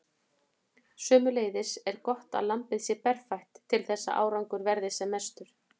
Sömuleiðis er gott að lambið sé berfætt til þess að árangur verði sem mestur.